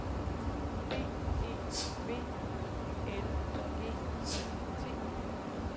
B E V I L G E T